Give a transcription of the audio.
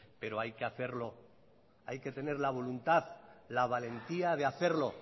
pero hay que hacerlo hay que tener la voluntad la valentía de hacerlo